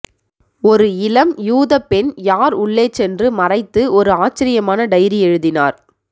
ஒரு இளம் யூத பெண் யார் உள்ளே சென்று மறைத்து ஒரு ஆச்சரியமான டைரி எழுதினார்